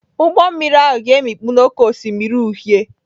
Ụgbọ mmiri ahụ ga-emikpu n'Oké Osimiri Uhie.